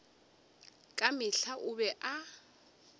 ka mehla o be a